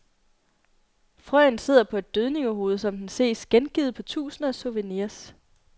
Frøen sidder på et dødningehoved, som den ses gengivet på tusinder af souvenirs.